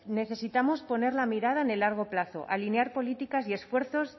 necesitamos poner la mirada en el largo plazo alinear políticas y esfuerzos